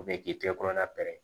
O bɛɛ k'i tɛgɛ kɔnɔna pɛrɛn